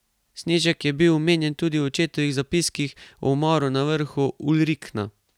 Snežak je bil omenjen tudi v očetovih zapiskih o umoru na vrhu Ulrikna.